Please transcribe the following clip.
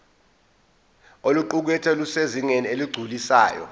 oluqukethwe lusezingeni eligculisayo